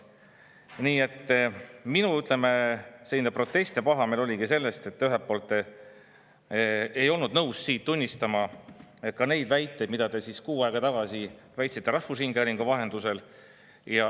Nii et minu, ütleme, protest ja pahameel oligi selle tõttu, et te ei olnud nõus tunnistama neid väiteid, mida te kuu aega tagasi väitsite rahvusringhäälingu vahendusel.